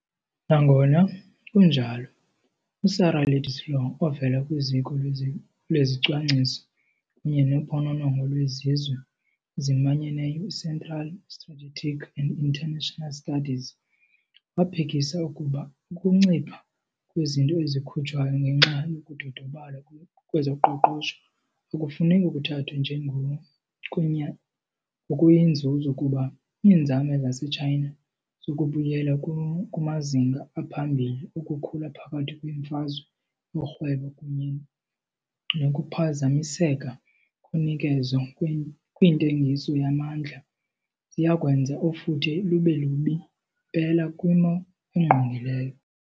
Nangona kunjalo, uSarah Ladislaw ovela kwiZiko lweZicwangciso kunye noPhononongo lweZizwe eziManyeneyo, Central for Strategic and international Studies, waphikisa ukuba ukuncipha kwizinto ezikhutshwayo ngenxa yokudodobala kwezoqoqosho akufuneki kuthathwe njengokuyinzuzo kuba iinzame zaseChina zokubuyela kumazinga aphambili okukhula phakathi kweemfazwe zorhwebo kunye nokuphazamiseka konikezo kwintengiso yamandla ziyakwenza ufuthe lube lubi mpela kwimo engqongileyo.